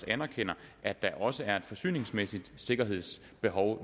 anerkender at der også er et forsyningsmæssigt og sikkerhedsmæssigt behov